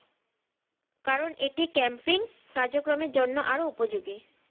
কারণ এটি camping কার্যক্রমের জন্য আরো উপযোগী